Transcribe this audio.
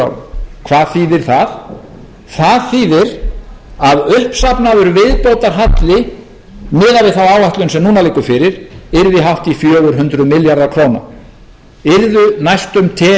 ár hvað þýðir það það þýðir að uppsafnaður viðbótarhalli miðað við þá áætlun sem núna liggur fyrir yrði hátt í fjögur hundruð milljarðar króna yrðu næstum tekjur ríkissjóðs á